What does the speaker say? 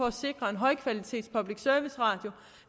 at sikre en højkvalitets public service radio